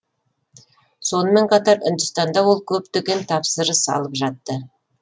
сонымен қатар үндістанда ол көптеген тапсырыс алып жатты